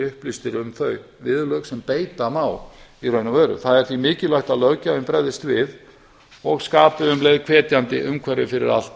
upplýstir um þau viðurlög sem beita má í raun og veru það er því mikilvægt að löggjafinn bregðist við og skapi um leið hvetjandi umhverfi fyrir allt